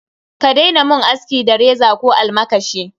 Ka daina mun aski da reza ko almakashi.